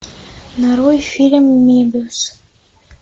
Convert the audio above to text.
нарой фильм мебиус